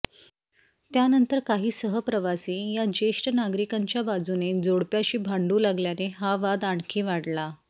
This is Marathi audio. त्यानंतर काही सहप्रवासी या ज्येष्ठ नागरिकांच्या बाजूने जोडप्याशी भांडू लागल्याने हा वाद आणखी वाढला